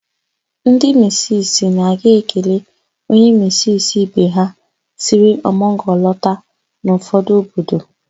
Ndi misisi na-aga ekele onye misisi ibe ha siri ọmụgwọ lọta n'ụfọdụ obodo.